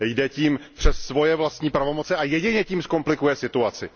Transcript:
Jde tím přes svoje vlastní pravomoce a jedině tím zkomplikuje situaci.